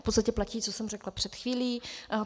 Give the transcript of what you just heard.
V podstatě platí, co jsem řekla před chvílí.